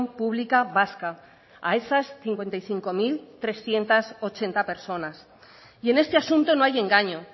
pública vasca a esas cincuenta y cinco mil trescientos ochenta personas y en este asunto no hay engaño